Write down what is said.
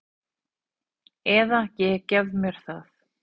Eða ég gef mér það.